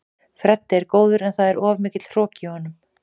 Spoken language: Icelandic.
Freddi er góður en það er of mikill hroki í honum.